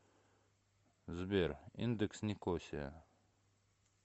сбер индекс никосия